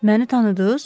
Məni tanıdız?